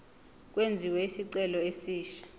kwenziwe isicelo esisha